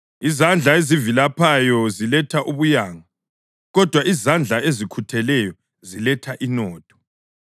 Izandla ezivilaphayo ziletha ubuyanga, kodwa izandla ezikhutheleyo ziletha inotho.